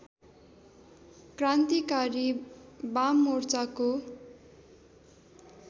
क्रान्तिकारी वाममोर्चाको